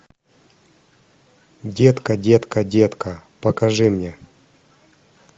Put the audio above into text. детка детка детка покажи мне